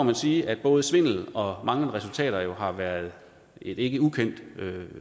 vi sige at både svindel og manglende resultater har været et ikke ukendt